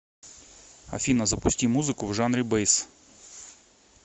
афина запусти музыку в жанре бэйс